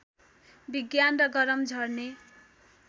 विज्ञान र गरम झर्ने